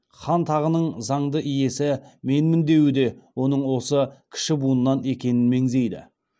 хан тағының заңды иесі менмін деуі де оның осы кіші буыннан екенін меңзейді